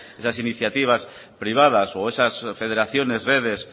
esas iniciativas privadas o esas federaciones redes